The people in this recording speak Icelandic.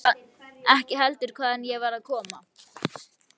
Ekki heldur hvaðan ég var að koma.